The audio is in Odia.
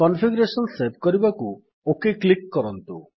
କନଫିଗରେଶନ୍ ସେଭ୍ କରିବାକୁ ଓକ୍ କ୍ଲିକ୍ କରନ୍ତୁ